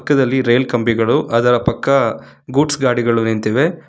ಪಕ್ಕದಲ್ಲಿ ರೈಲ್ ಕಂಬಿಗಳು ಅದರ ಪಕ್ಕ ಗೂಡ್ಸ್ ಗಾಡಿಗಳು ನಿಂತಿವೆ.